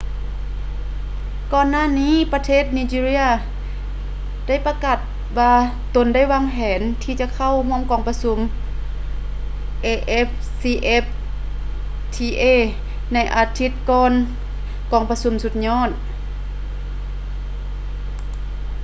ກ່ອນໜ້ານີ້ປະເທດ nigeria ໄດ້ປະກາດວ່າຕົນໄດ້ວາງແຜນທີ່ຈະເຂົ້າຮ່ວມກອງປະຊຸມ afcfta ໃນອາທິດກ່ອນກອງປະຊຸມສຸດຍອດ